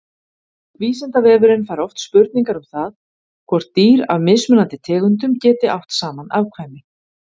Vísindavefurinn fær oft spurningar um það hvort dýr af mismunandi tegundum geti átt saman afkvæmi.